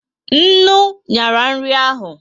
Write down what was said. Ńnú ñyara nri ahu